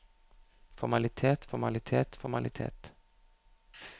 formalitet formalitet formalitet